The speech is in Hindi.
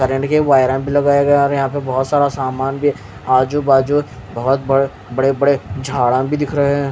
कर्रेंट के वायर भी लगाए गए यहाँ पे और यहाँ पे बहुतसारा सामान भी आजुबाजु बड़े बड़े झाड़ भी दिख रहे है।